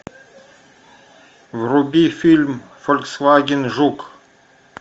вруби фильм фольксваген жук